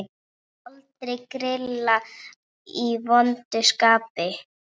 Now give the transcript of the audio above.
Aldrei grilla í vondu skapi.